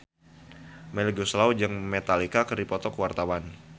Melly Goeslaw jeung Metallica keur dipoto ku wartawan